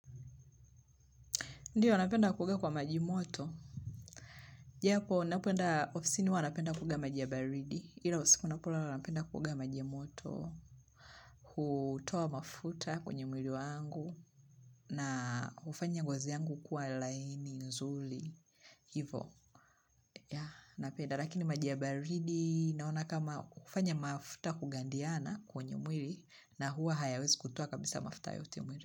Ndiyo, napenda kuoga kwa maji moto. Japo, ninapoenda ofisin huwa napenda kuoga maji ya baridi. Ila usiku ninapolala, napenda kuoga maji moto. Kutoa mafuta kwenye mwili wangu. Na hufanya ngozi yangu kuwa laini nzuri. Hivyo. Ya, napenda. Lakini maji ya baridi, naona kama hufanya mafuta kugandiana kwenye mwili. Na huwa haya wezi kutoa kabisa mafuta yote mwili.